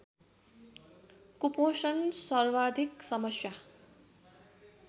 कुपोषण सर्वाधिक समस्या